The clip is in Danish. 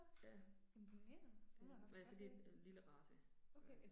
Ja. Øh, men altså det, øh lille race, så